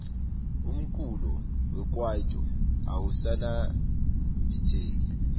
umculo wekaito awusaniabitseki